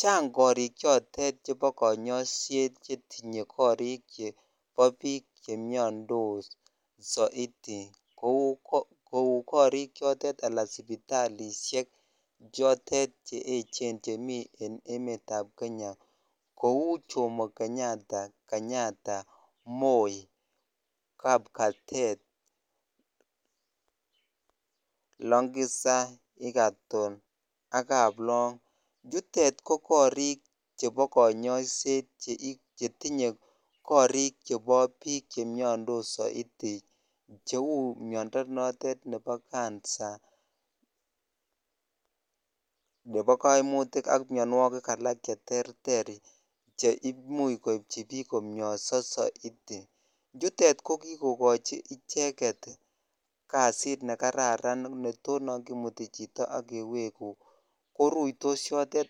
Chang korik chotet chebo konyoiset chetinye korik chebo biik chemiondos soiti kouu korik chotet alaa sipitalishek chotet che echen chemii jen emetab Kenya, kouu Jomo Kenyetta, Moi, Kapkatet, Longisa, Egertone ak Kaplong, chutet ko korik chebo konyoiset chetinye korik chebo biik chemiondos soiti cheuu miondo notet nebo cancer nebo koimutik ak mionwokik alak cheterter cheimuch koibchi biik komioso siti, chutet ko kikokochi icheket kasit nekararan neto non kimuti chito ak keweku koruitos yotet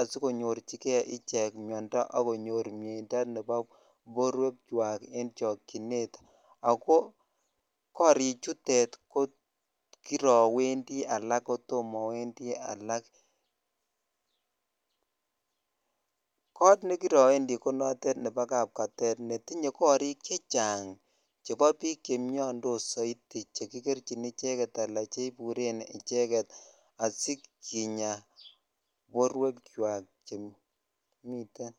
asikonyorchike ichek miondo ak konyor mieindo nebo borwekwak en chokyinet ak ko korichutet ko kirowendi alak kotom owendi alak, koot nekirowendi ko notet nebo kapkatet netinye korik chechang chebo biik chemiondos soiti chekikerchin icheket alaa cheiburen icheket asikinyaa borwekwak chemiten.